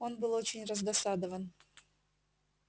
он был очень раздосадован